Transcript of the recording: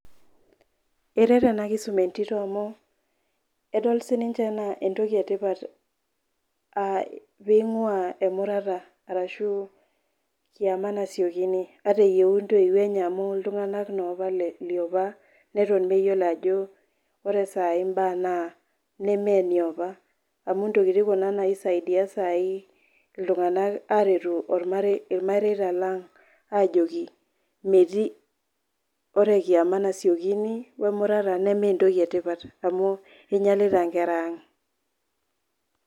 Eret ena kisuma entito amu, edol sininye anaa entoki e tipat pee eing'uaa emurata ashu kiama nasiokini ata eyou intoiwuo enye amu iltung'ana naake le opa leton meyiolo ajo ore mbaa saai naa nemee ineopa, amu intokiti kuna naisaidia sai iltung'ana aing'uraa olmareita lang' ajoki, metii, ore kiama nasiokini, we emurata nemee entoki e tipat amu einyalita inkera aang'.